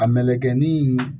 A melekɛnin